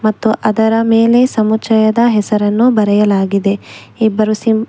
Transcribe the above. ಮತ್ತು ಅದರ ಮೇಲೆ ಸಮುಚಯದ ಹೆಸರನ್ನು ಬರೆಯಲಾಗಿದೆ ಇಬ್ಬರು ಸಿಂ --